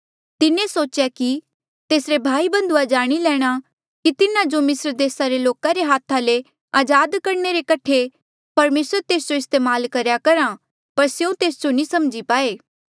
तिन्हें सोचेया कि तेसरे भाई बन्धुआ जाणी लैणा कि तिन्हा जो मिस्र देसा रे लोका रे हाथा ले अजाद करणे रे कठे परमेसर तेस जो इस्तेमाल करेया करहा पर स्यों तेस जो समझी नी पाए